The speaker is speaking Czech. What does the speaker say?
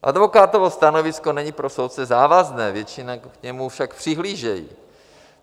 Advokátovo stanovisko není pro soudce závazné, většinou k němu však přihlížejí.